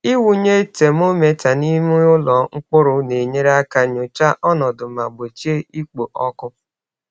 Ịwụnye temometa n’ime ụlọ mkpụrụ na-enyere aka nyochaa ọnọdụ ma gbochie ikpo ọkụ.